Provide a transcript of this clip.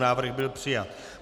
Návrh byl přijat.